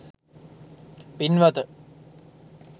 පින්වත,